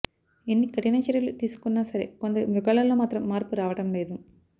ఎన్ని కఠిన చర్యలు తీసుకున్న సరే కొందరి మృగాళ్లలో మాత్రం మార్పు రావడం లేదు